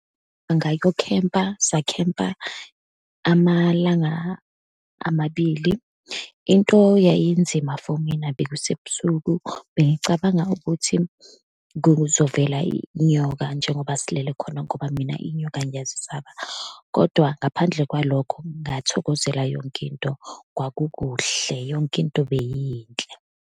Angayukokhempa, sakhepma amalanga amabili. Into yayinzima for mina, bekusebusuku, bengicabanga ukuthi kuzovela inyoka, njengoba silele khona, ngoba mina inyoka ngiyazisaba. Kodwa ngaphandle kwalokho, ngathokozela yonke into, kwakukuhle, yonke into beyiyinhle.